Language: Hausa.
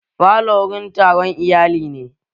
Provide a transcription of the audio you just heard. Falo wurin taron iyali ne